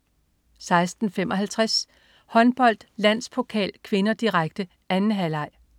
16.55 Håndbold: Landspokal (k), direkte. 2. halvleg